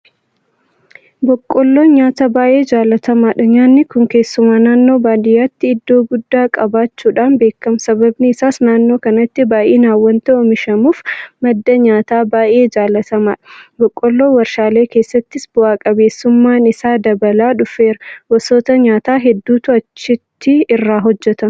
Boqqolloon nyaata baay'ee jaalatamaadha. Nyaanni kun keessumaa naannoo baadiyyaatti iddoo guddaa qabaachuudhaan beekama. Sababni isaas naannoo kanatti baay'inaan waanta oomishamuuf madda nyaataa baay'ee jaalatamaadha. Boqqolloon warshaalee keessattis bu'a qabeessummaan isaa dabalaa dhufeera. Gosoota nyaataa hedduutu achitti irraa hojjetama.